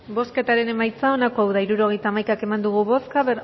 bozketaren emaitza onako izan da hirurogeita hamaika eman dugu bozka